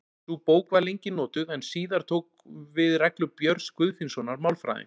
Sú bók var lengi notuð en síðar tóku við reglur Björns Guðfinnssonar málfræðings.